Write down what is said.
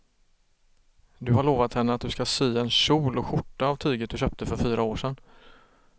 Du har lovat henne att du ska sy en kjol och skjorta av tyget du köpte för fyra år sedan.